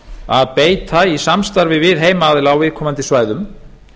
að beita í samstarfi við heimaaðila á viðkomandi svæðum